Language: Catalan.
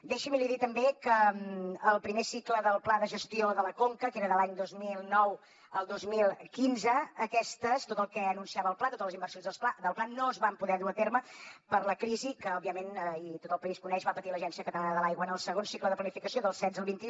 deixi’m li dir també que el primer cicle del pla de gestió de la conca que era de l’any dos mil nou al dos mil quinze aquestes tot el que anunciava el pla totes les inversions del pla no es van poder dur a terme per la crisi que òbviament i tot el país ho coneix va patir l’agència catalana de l’aigua en el segon cicle de planificació del setze al vint un